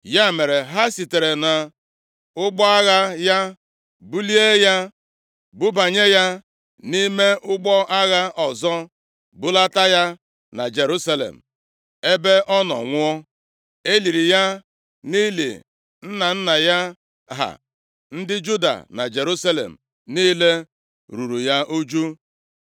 Ya mere, ha sitere nʼụgbọ agha ya bulie ya bubanye ya nʼime ụgbọ agha ọzọ, bulata ya na Jerusalem, ebe ọ nọ nwụọ. E liri ya nʼili nna nna ya ha, ndị Juda na Jerusalem niile ruuru ya uju.